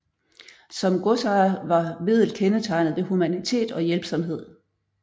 Som godsejer var Wedell kendetegnet ved humanitet og hjælpsomhed